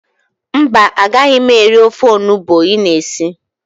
Mba, agaghị m eri ofe onubu ị na esi.